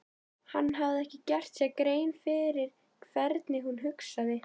Hann hafði ekki gert sér grein fyrir hvernig hún hugsaði.